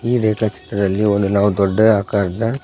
ಈ ರೇಖಾ ಚಿತ್ರದಲ್ಲಿ ಒಂದು ನಾವು ದೊಡ್ಡ ಆಕಾರದ--